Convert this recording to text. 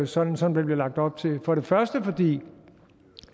sådan som der blev lagt op til for det første fordi